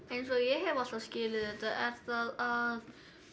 eins og ég hef alltaf skilið þetta að